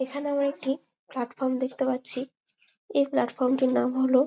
এইখানে আমরা একটি প্লাট ফ্রম দেখতে পারছি এই প্লাট ফর্মটির মানে হলো--